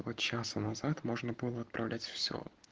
полчаса назад можно было отправлять все